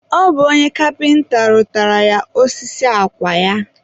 ọ bụ onye kapịnta rụtaara ya osisi akwa ya.